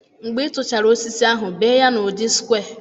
Mgbe ị tụchara osisi ahu, bee ya n'ụdị square.